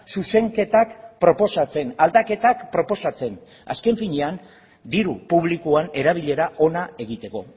zuzenketak proposatzen aldaketak proposatzen azken finean diru publikoan erabilera ona egiteko